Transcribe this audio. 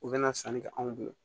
U bɛna sanni kɛ anw bolo